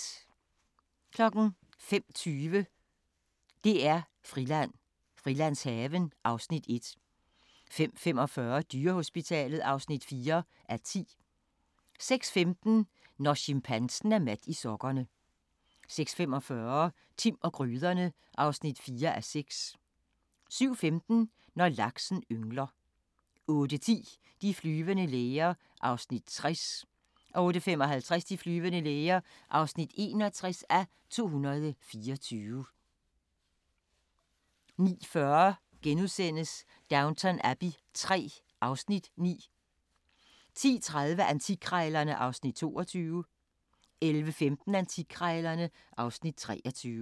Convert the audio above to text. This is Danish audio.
05:20: DR-Friland: Frilandshaven (Afs. 1) 05:45: Dyrehospitalet (4:10) 06:15: Når chimpansen er mat i sokkerne 06:45: Timm og gryderne (4:6) 07:15: Når laksen yngler 08:10: De flyvende læger (60:224) 08:55: De flyvende læger (61:224) 09:40: Downton Abbey III (Afs. 9)* 10:30: Antikkrejlerne (Afs. 22) 11:15: Antikkrejlerne (Afs. 23)